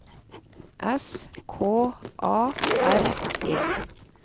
S K A R E